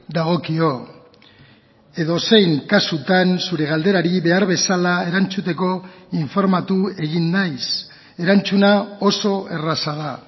dagokio edozein kasutan zure galderari behar bezala erantzuteko informatu egin naiz erantzuna oso erraza da